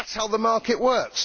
That is how the market works.